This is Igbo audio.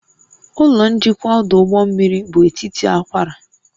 Ụlọ njikwa ọdụ ụgbọ mmiri bụ etiti akwara